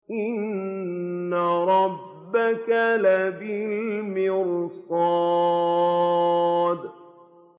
إِنَّ رَبَّكَ لَبِالْمِرْصَادِ